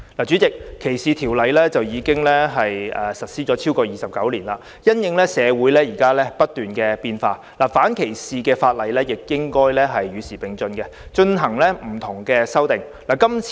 主席，反歧視條例在本港已實施29年，因應社會不斷變化，反歧視條例亦應與時並進作出修訂。